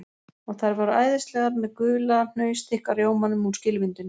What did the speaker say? Og þær voru æðislegar með gula hnausþykka rjómanum úr skilvindunni